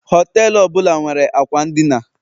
họtelu ọ bụla nwere akwa n'dina